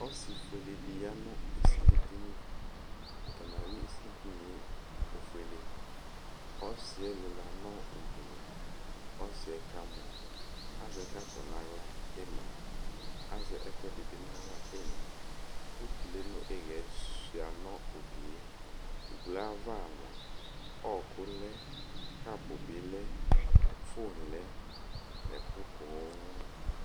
ɔsiƒʋɛlɛ di yanʋ ɛsilidini atani awi ɛsilidiniɛɛ ofuɛlɛ ɔsiɛlila nʋ ubolo ɔsiɛkamu azɛ kɔpʋ nʋ ala imla azɛ ɛkuɛdi bi na la ina ʋtʋlɛ nu iyɛ swiya nʋ ugilɛ ugilɛ aɣa mʋa ɔkʋ lɛ kapʋ bi lɛ phone lɛ ɛkʋ poo